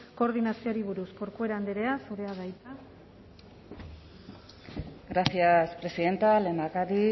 koordinazioari buruz corcuera andrea zurea da hitza gracias presidenta lehendakari